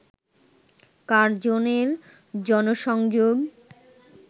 কার্জনের জনসংযোগ